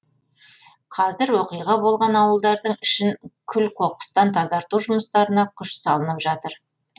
қазір оқиға болған ауылдардың ішін күл қоқыстан тазарту жұмыстарына күш салынып жатыр